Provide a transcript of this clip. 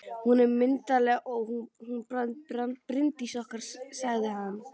Hún er myndarleg, hún Bryndís okkar, sagði hann.